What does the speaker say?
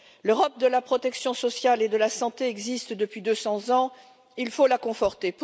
L'Europe de la protection sociale et de la santé existe depuis deux cents ans, il faut la conforter.